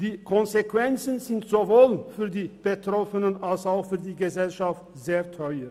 Die Konsequenzen sind sowohl für die Betroffenen als auch für die Gesellschaft sehr teuer.